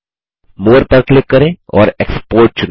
मोरे पर क्लिक करें और एक्सपोर्ट चुनें